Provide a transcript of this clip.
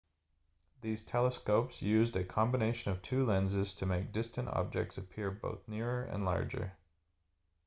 these telescopes used a combination of two lenses to make distant objects appear both nearer and larger